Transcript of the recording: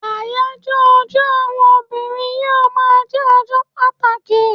Ayajo ọjọ àwọn obìnrin yíò ma je ọjọ pàtàkì